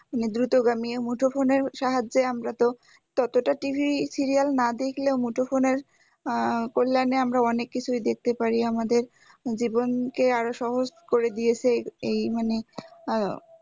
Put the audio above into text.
মানে দ্রুতগামীও মুঠোফোনের সাহায্যে যতটা TV serial না দেখলেও মুঠোফোনের আহ কল্যানে আমরা অনেক কিছুই দেখতে পারি আমাদের জীবনকে আরও সহজ করে দিয়েছে এই মানে আহ